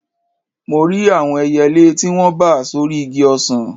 Mo rí àwọn ẹyẹlé tí wọ́n bà sórí igi ọsàn